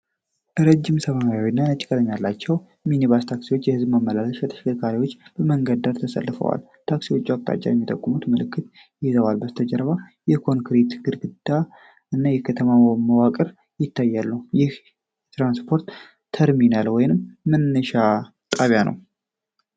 ረዥም የሰማያዊና ነጭ ቀለም ያላቸው ሚኒባስ ታክሲዎች (የሕዝብ ማመላለሻ ተሽከርካሪዎች) በመንገድ ዳር ተሰልፈው ይገኛሉ። ታክሲዎቹ አቅጣጫ የሚጠቁሙ ምልክቶችን ይዘዋል። ከበስተጀርባው የኮንክሪት ግድግዳ እና የከተማ መዋቅሮች ይታያሉ። ይህ የትራንስፖርት ተርሚናል ወይም መነሻ ጣቢያ ነው።